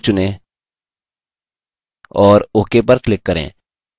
magenta 4 चुनें और ok पर click करें